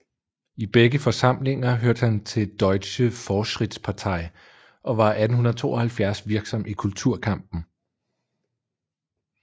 I begge forsamlinger hørte han til Deutsche Fortschrittspartei og var 1872 virksom i kulturkampen